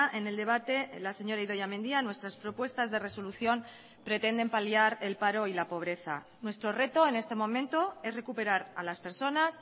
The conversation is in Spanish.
en el debate la señora idoia mendia nuestras propuestas de resolución pretenden paliar el paro y la pobreza nuestro reto en este momento es recuperar a las personas